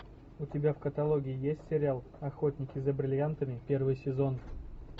у тебя в каталоге есть сериал охотники за бриллиантами первый сезон